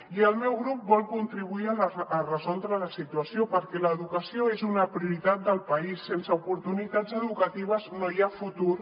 i el meu grup vol contribuir a resoldre la situació perquè l’educació és una prioritat del país sense oportunitats educatives no hi ha futur